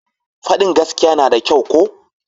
Fadin gaskiya na da kyau ko?